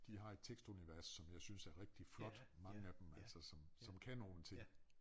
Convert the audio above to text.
De har et tekstunivers som jeg synes er rigtig flot mange af dem altså som som kan nogle ting